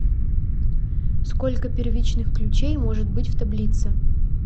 сколько первичных ключей может быть в таблице